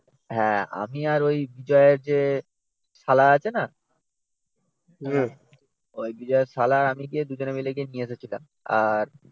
হ্যাঁ আমি আর ওই বিজয়ের যে শালা আছে না ওই বিজয়ের শালা আমি গিয়ে ওই দুজনে মিলে গিয়ে নিয়ে এসেছিলাম। আর,